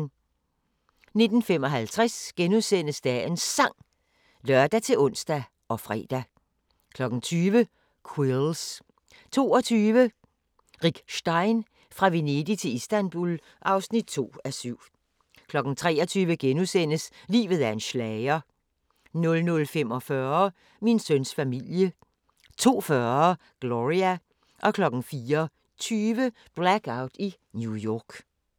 19:55: Dagens Sang *(lør-ons og fre) 20:00: Quills 22:00: Rick Stein: Fra Venedig til Istanbul (2:7) 23:00: Livet er en schlager * 00:45: Min søns familie 02:40: Gloria 04:20: Blackout i New York